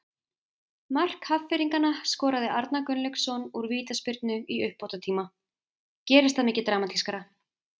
Stefán Pálsson: Mér er eiginlega spurn, hvernig sjá menn fyrir sér kosningabaráttu við slíkar aðstæður?